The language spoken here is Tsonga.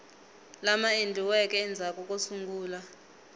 lama endliweke endzhaku ko sungula